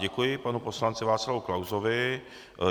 Děkuji panu poslanci Václavu Klausovi.